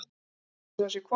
Læt einsog það sé hvolpur.